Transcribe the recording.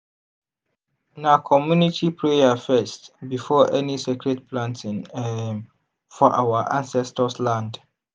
na community prayer first before any sacred planting um for our ancestors land.